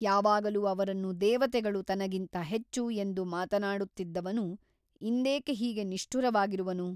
ಯಾವಾಗಲೂ ಅವರನ್ನು ದೇವತೆಗಳು ತನಗಿಂತ ಹೆಚ್ಚು ಎಂದು ಮಾತನಾಡುತ್ತಿದ್ದವನು ಇಂದೇಕೆ ಹೀಗೆ ನಿಷ್ಠುರವಾಗಿರುವನು ?